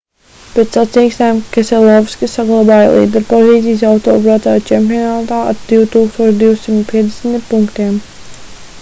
pēc sacīkstēm keselovskis saglabāja līderpozīcijas autobraucēju čempionātā ar 2250 punktiem